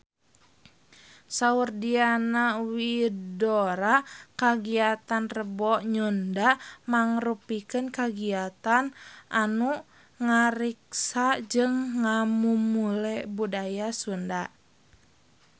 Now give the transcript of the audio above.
Saur Diana Widoera kagiatan Rebo Nyunda mangrupikeun kagiatan anu ngariksa jeung ngamumule budaya Sunda